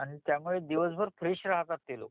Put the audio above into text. आणि त्या मूळे दिवसभर फ्रेश राहतात ते लोक